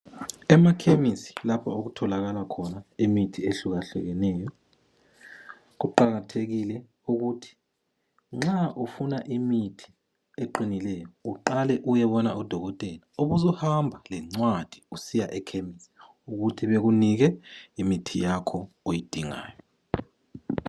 Emakhemisi lapho okutholakala khona imithi ehluka hlukeneyo ,kuqakathekile ukuthi nxa ufuna imithi eqinileyo uqale uyebona udokotela ubusuhamba lencwadi usiya ekhemisi ukuthi bekunike imithi yakho oyidingayo.